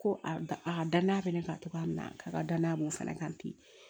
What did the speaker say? Ko a danaya bɛ ne kan cogoya min na k'a ka danaya b'o fana kan ten